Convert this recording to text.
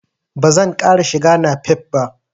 Ba zan ƙara shiga napep ba.